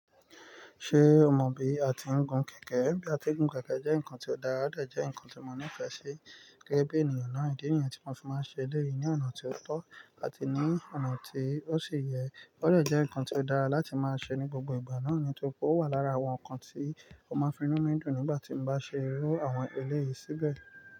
Ṣé o mọ bí a ti ń gun kẹ̀kẹ́? Bí a ti ń gun kẹ̀kẹ́ jẹ́ nǹkan tó dára, ó lè jẹ́ nǹkan tí mo nífẹ̀ẹ́ sí gẹ́gẹ́ bí ènìyàn náà. Ídi nìyen tí mo fi máa ń ṣe lẹ́yìn ní ọ̀nà tí ó tọ́ àti ní ọ̀nà tí ó sì yẹ ó dẹ̀ jẹ́ ǹkan tí ó dára láti máa ṣe ní gbogbo ìgbà náà nítòrí pé o wà lára àwọn ǹkan tí ó máa ń finú mi dùn nígbà tí mo bá ṣe irú àwọn eléyìí síbẹ̀